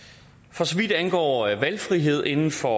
for så vidt angår valgfrihed inden for